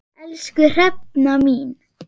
Elsku Hrefna mín.